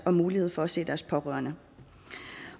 og mulighed for at se deres pårørende